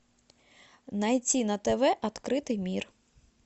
найти на тв открытый мир